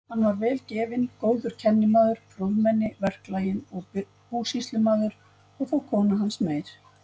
Hann var vel gefinn, góður kennimaður, prúðmenni, verklaginn og búsýslumaður, og þó kona hans meir.